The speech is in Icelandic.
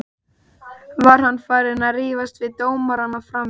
Var hann farinn að rífast við dómarana frammi?